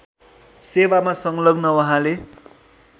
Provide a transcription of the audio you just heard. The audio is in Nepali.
सेवामा संलग्न उहाँले